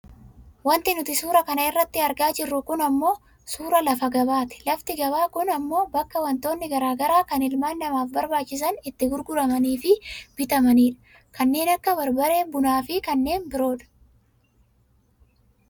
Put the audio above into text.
Wanti nuti suura kana irratti argaa jirru kun ammoo suuraa lafa gabaati. Lafti gabaa kun ammoo bakka wantootni gara garaa kan ilma namaaf barbaachisan itti grguramaniifi bitamanidha. Kannee. Akka barbaree , bunaafi kanneen biroodha.